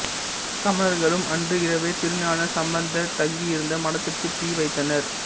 சமணர்களும் அன்று இரவே திருஞானசம்பந்தர் தங்கி இருந்த மடத்துக்கு தீ வைத்தனர்